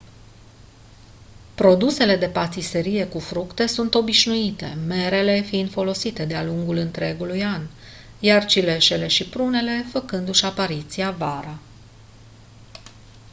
produsele de patiserie cu fructe sunt obișnuite merele fiind folosite de-a lungul întregului an iar cireșele și prunele făcându-și apariția vara